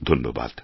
ধন্যবাদ